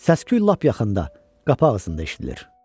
Səsküy lap yaxında, qapı ağzında eşidilir.